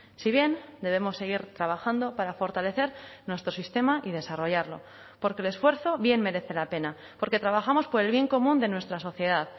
si bien debemos seguir trabajando para fortalecer nuestro sistema y desarrollarlo porque el esfuerzo bien merece la pena porque trabajamos por el bien común de nuestra sociedad